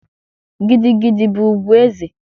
Gidi gidi bụ ugwu eze